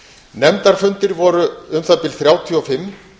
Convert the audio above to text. nefndarfundir voru um það bil þrjátíu og fimm